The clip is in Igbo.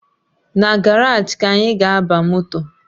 Na garaji ka anyị ga-aba moto